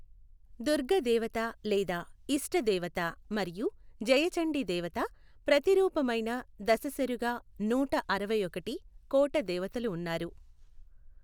దుర్గ దేవత లేదా ఇష్ట దేవత మరియు జయచండి దేవత ప్రతిరూపమైన దశశరుగా నూట అరవైఒకటి కోట దేవతలు ఉన్నారు.